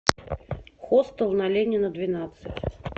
хостел на ленина двенадцать